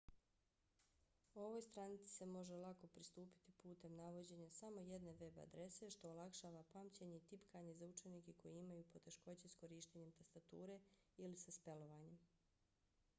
ovoj stranici se može lako pristupiti putem navođenja samo jedne web-adrese što olakšava pamćenje i tipkanje za učenike koji imaju poteškoće s korištenjem tastature ili sa spelovanjem